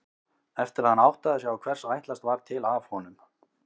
Eftir að hann áttaði sig á hvers ætlast var til af honum.